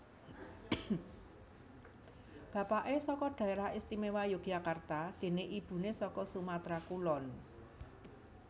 Bapaké saka Dhaerah Istimewa Yogyakarta déné ibuné saka Sumatra Kulon